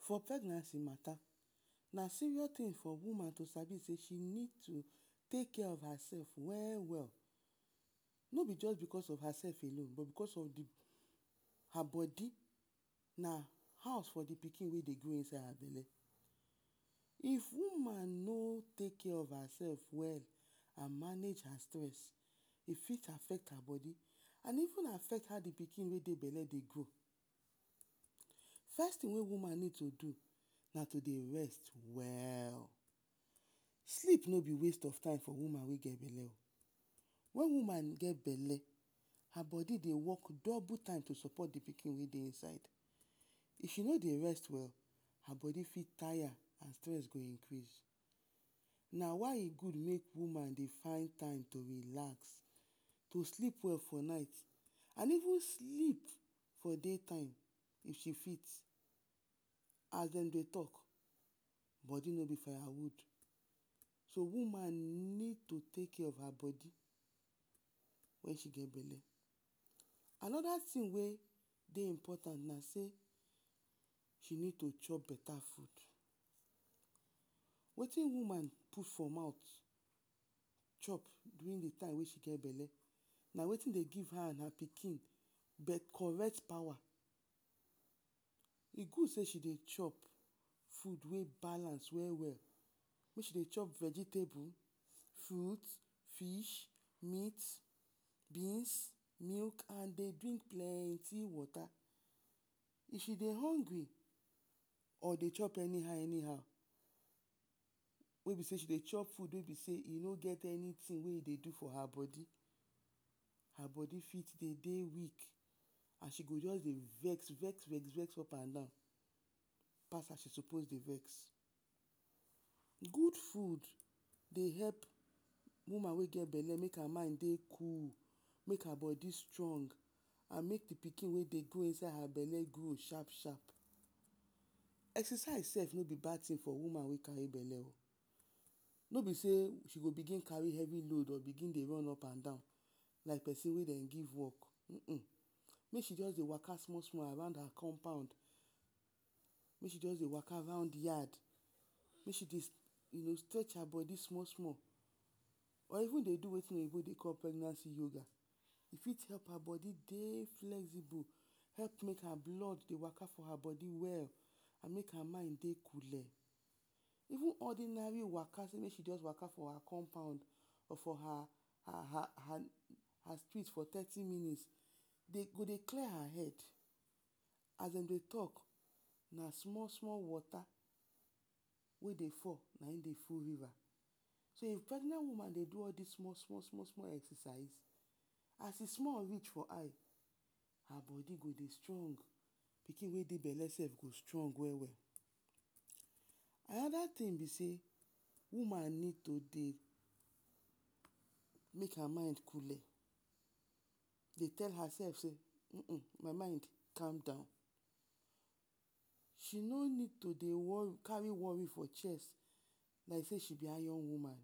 For pregnancy mata na serious tin for woman to sabi sey she need to take care of hersef we-we. No be just because of hersef alone but because her bodi na house for the pikin wey dey grow inside her bele. If woman no take care of her sef well and manage her stress, e fit affect her bodi, e even affect how the pikin wey dey bele her bele dey grow. First tin wey woman need to do an to dey rest well. Sleep no be waste of time for woman wey get bele o. wen woman get bele, her bodi dey work double time to sopot the pikin wey dey inside her, if she no dey rest well, her bodi fit taya, stress go increase, na why e gud mey woman dey find time to relax. To sleep well for night and even sleep well for day time if she fit, as dem dey talk, bodi no be faya wood. So woman need to take care of her bodi wen she get bele. Anoda tin wey dey important na sey, she need to chop beta fud, wetin woman put for mouth chop the time wey she get bele na wetin dey give her and her pikin get correct pawa. E gud sey she dey chop fud wey balance we-we, mey she dey chop vegetable, fruit, fish, meat, milk and dey drink plenty wota. If she dey hongri and dey chop any-how, any-how, wey be sey she dey chop fud wey e no get any tin to do for her bodi, her bodi fit de dey weak and she go just dey vex-vex, dey vex-vex up and down pas as she sopos dey vex, gud fud dey help woman wey dey bele make her mind dey cool, make her bodi strong and make the pikin wey dey grow inside her bele grow shap-shap. Exercise sef no be bad tin for woman wey kari bele o, no be sey she go bigin kari hevi load or dey bigin run up and down like pesin wey dem give work, make she just dey waka small-small around her compound. Mey she just dey waka round yard, dey stretch her bodi small-small or even dey do wetin pregnant woman…….? E fit make her bodi dey flexible, blood dey waka for her bodi well and make her mind dey coole, even ordinary waka mey she just dey waka for her compound, for her street for thirty minutes e go dey clear her head as dem dey talk, na small-small wota wey dey fall na in dey full riva. If pregnant woman dey do all dos small-small exrcise, as e small rech for eye, her bodi go dey strong pikin wey dey for her bele go dey strong. Anoda tin be sey, woman need to dey make her mind coole, de tell her sef sey my mind calm down. She no need to dey kari wori for chest like sey she be iron woman.